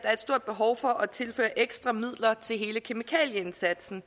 er et stort behov for at tilføre ekstra midler til hele kemikalieindsatsen